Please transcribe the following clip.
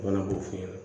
U kana b'o f'i ɲɛna